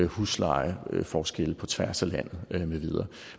huslejeforskel på tværs af landet